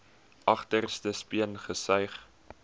agterste speen gesuig